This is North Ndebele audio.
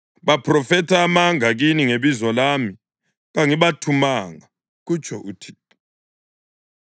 Baphrofetha amanga kini ngebizo lami. Kangibathumanga,” kutsho uThixo.